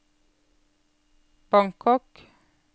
Bangkok